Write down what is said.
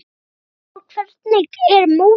Hafþór: Hvernig er mótið?